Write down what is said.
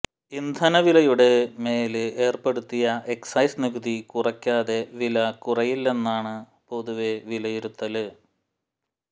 ഇന്ധനവിലയുടെ മേല് ഏര്പ്പെടുത്തിയ എക്സൈസ് നികുതി കുറക്കാതെ വില കുറയില്ലെന്നാണ് പൊതുവെ വിലയിരുത്തല്